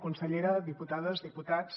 consellera diputades diputats